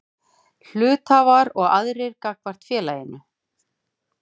Hluthafar og aðrir gagnvart félaginu.